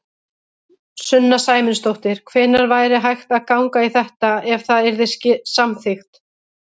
Sunna Sæmundsdóttir: Hvenær væri hægt að ganga í þetta, ef það yrði samþykkt?